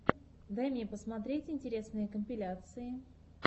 дай мне посмотреть интересные компиляции